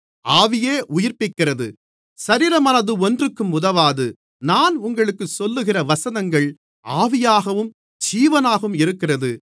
ஆவியே உயிர்ப்பிக்கிறது சரீரமானது ஒன்றுக்கும் உதவாது நான் உங்களுக்குச் சொல்லுகிற வசனங்கள் ஆவியாகவும் ஜீவனாகவும் இருக்கிறது